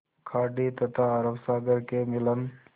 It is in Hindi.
खाड़ी तथा अरब सागर के मिलन